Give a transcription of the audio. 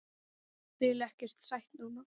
Vil ekkert sætt núna.